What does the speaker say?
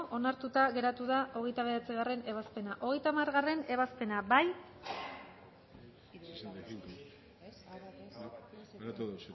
onartuta geratu da hogeita bederatzigarrena ebazpena hogeita hamargarrena ebazpena bozkatu dezakegu bozketaren emaitza onako